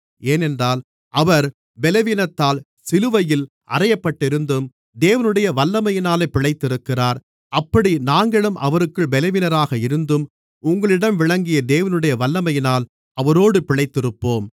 ஏனென்றால் அவர் பலவீனத்தால் சிலுவையில் அறையப்பட்டிருந்தும் தேவனுடைய வல்லமையினால் பிழைத்திருக்கிறார் அப்படி நாங்களும் அவருக்குள் பலவீனராக இருந்தும் உங்களிடம் விளங்கிய தேவனுடைய வல்லமையினால் அவரோடு பிழைத்திருப்போம்